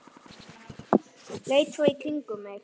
Leit svo í kringum mig.